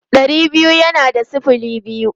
Ɗari biyu yana da sifili biyu.